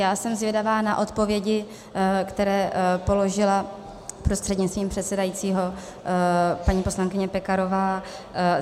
Já jsem zvědavá na odpovědi, které položila prostřednictvím předsedajícího paní poslankyně Pekarová.